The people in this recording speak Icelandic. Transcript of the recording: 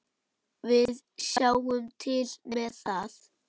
Við sjáum til með það.